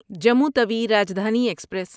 Jammu Tawi Rajdhani express